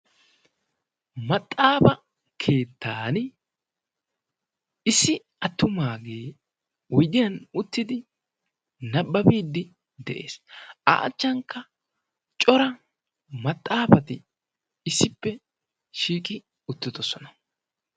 Maxaafa keettan issi attumaagee uidiyan uttidi nabbabiiddi de'ees. a achchankka cora maxaafati issippe shiiqi uttidosona.